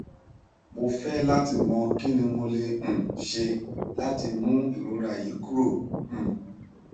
mo fẹ lati mọ kini mo le um ṣe lati mu irora yi kuro um